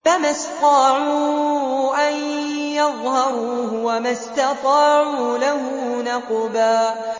فَمَا اسْطَاعُوا أَن يَظْهَرُوهُ وَمَا اسْتَطَاعُوا لَهُ نَقْبًا